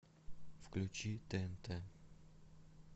включи тнт